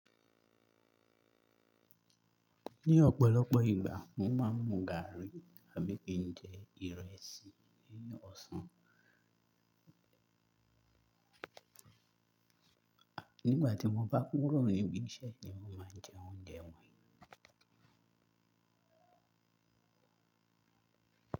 Ní ọ̀pọ̀lọpọ̀ ìgbà mo máa ń gáàrí àbí kije ìrẹsì ní ọ̀sán. Nígbà tí mo bá kúrò níbí iṣẹ́ ni mo máa ń jẹ oúnjẹ wọ̀nyí.